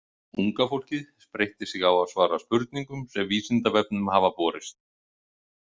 Unga fólkið spreytti sig á að svara spurningum sem Vísindavefnum hafa borist.